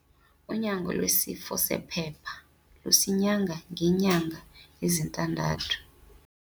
Unyango lwesifo sephepha lusinyanga ngeenyanga ezintandathu.